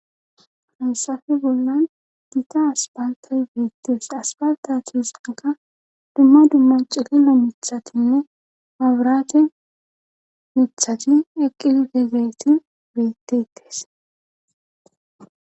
Hansafe bollan diita aspalta beettes aspalta tisaka dumma dumma cilillo mithatinne abraate mithati eqqilite geeti beettettes.